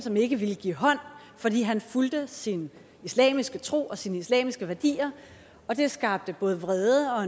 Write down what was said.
som ikke ville give hånd fordi han fulgte sin islamiske tro og sine islamiske værdier og det skabte vrede og